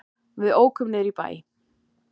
Við ókum niður í bæ.